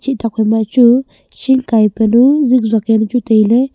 chih tokphai machu ching kai panu ziksuak yawnu chu tailey.